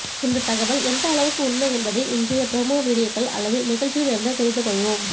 இந்த தகவல் எந்த அளவுக்கு உண்மை என்பது இன்றைய புரமோ வீடியோக்கள் அல்லது நிகழ்ச்சியில் இருந்து தெரிந்து கொள்வோம்